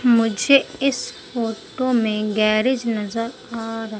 मुझे इस फोटो मे गैरेज नज़र आ रहा--